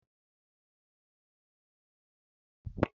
Ndị ọkàiwu na ejike nkeọma.